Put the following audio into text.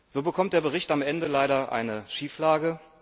So bekommt der Bericht am Ende leider eine Schieflage.